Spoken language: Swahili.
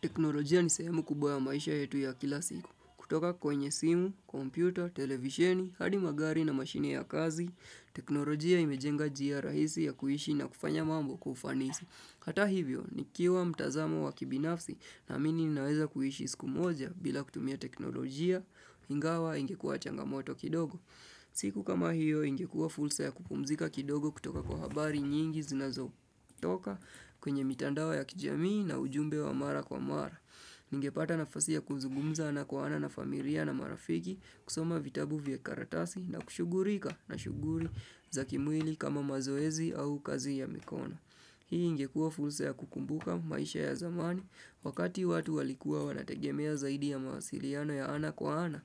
Teknolojia ni sehemu kubwa ya maisha yetu ya kila siku. Kutoka kwenye simu, kompyuta, televisheni, hadi magari na mashine ya kazi, teknolojia imejenga njia rahisi ya kuishi na kufanya mambo kwa ufanisi. Hata hivyo, nikiwa mtazamo wa kibinafsi naamini ninaweza kuishi sku moja bila kutumia teknolojia, ingawa ingekua changamoto kidogo. Siku kama hiyo ingekua fulsa ya kupumzika kidogo kutoka kwa habari nyingi zinazo toka kwenye mitandao ya kijamii na ujumbe wa mara kwa mara. Ningepata nafasi ya kuzugumza na kwa ana na familia na marafiki kusoma vitabu vya karatasi na kushugurika na shuguri za kimwili kama mazoezi au kazi ya mikona. Hii ingekua fulsa ya kukumbuka maisha ya zamani wakati watu walikuwa wanategemea zaidi ya mawasiliano ya ana kwa ana